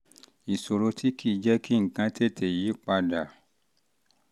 ìṣòro tí kì í jẹ́ kí jẹ́ kí nǹkan tètè yí pa dà